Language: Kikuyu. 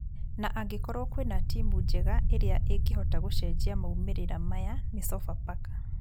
Na angĩkorwo kwĩna timũ njega ĩrĩa ĩngĩhota gũcenjia maumĩrĩra maya ni Sofapaka